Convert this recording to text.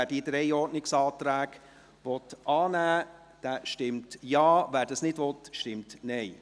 Wer diese annehmen will, stimmt Ja, wer dies nicht will, stimmt Nein.